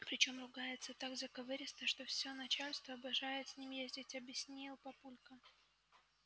причём ругается так заковыристо что всё начальство обожает с ним ездить объяснил папулька